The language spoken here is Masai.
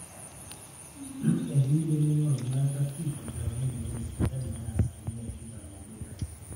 etii ilemeing'oru baata pii tenkaraki engolon esipitali naa asilimia tikitam oobo ina